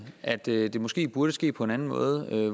at det det måske burde ske på en anden måde nemlig